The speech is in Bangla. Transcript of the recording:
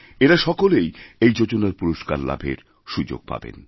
এঁরা সকলেই এই যোজনার পুরস্কার লাভের সুযোগ পাবেন